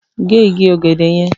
Gé igi ọ̀gẹ̀dẹ̀ yẹn!